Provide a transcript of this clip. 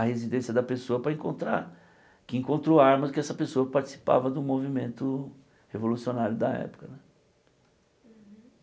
na residência da pessoa para encontrar, que encontrou armas que essa pessoa participava do movimento revolucionário da época.